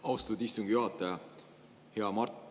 Austatud istungi juhataja!